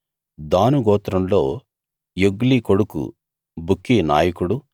దాను గోత్రంలో యొగ్లి కొడుకు బుక్కీ నాయకుడు